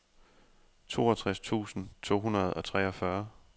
toogtres tusind to hundrede og treogfyrre